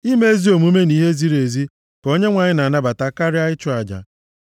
Ime ezi omume na ihe ziri ezi ka Onyenwe anyị na-anabata karịa ịchụ aja.